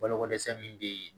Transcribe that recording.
Balokodɛsɛ min bɛ yen